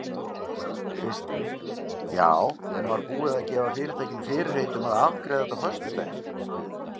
Kristinn: Já en var búið að gefa fyrirtækinu fyrirheit um að afgreiða þetta á föstudaginn?